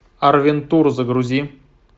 арвентур загрузи